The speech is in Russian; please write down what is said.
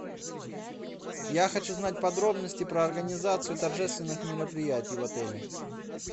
я хочу знать подробности про организацию торжественных мероприятий в отеле